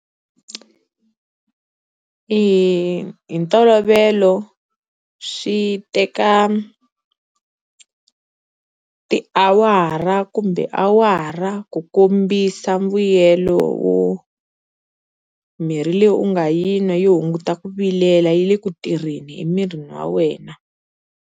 Hi hi ntolovelo swi teka tiawara kumbe awara ku kombisa mbuyelo wo mirhi leyi u nga yi nwa yi hunguta ku vilela yi le ku tirheni emirini wa wena.